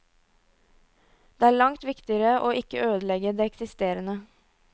Det er langt viktigere å ikke ødelegge det eksisterende.